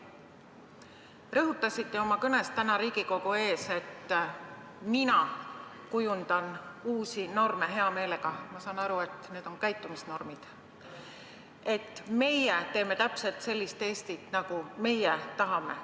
Rõhutasite oma kõnes täna Riigikogu ees, et teie kujundate uusi norme hea meelega – ma saan aru, et need on käitumisnormid – ja et teie teete täpselt sellist Eestit, nagu teie tahate.